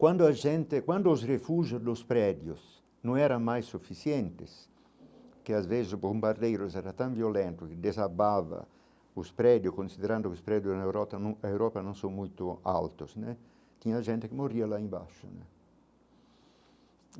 Quando a gente quando os refúgio dos prédios não era mais suficientes, que às vezes o bombardeiros era tão violento, que desabava os prédios, considerando que os prédios na Europa Europa não são muito altos né, tinha gente que morria lá embaixo.